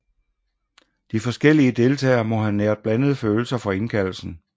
De forskellige deltagere må have næret blandede følelser for indkaldelsen